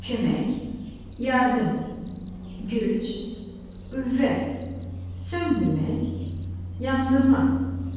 Kömək, yardım, güc, qüvvə, söndürmək, yandırmaq.